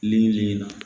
Ni nin na